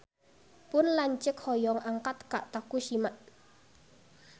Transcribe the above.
Pun lanceuk hoyong angkat ka Tokushima